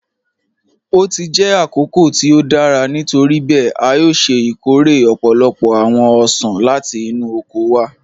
O ti jẹ́ àkókò tí o dára, nítoríbẹẹ̀, a yòò ṣẹ́ ikóre ọ̀pọ̀lọ́pọ̀ awọn ọṣan láti inú oko wa